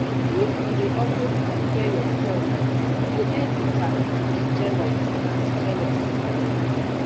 if you dey always compare yourself you go dey bitter and jealous and jealous